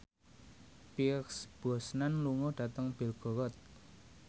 Pierce Brosnan lunga dhateng Belgorod